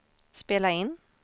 spela in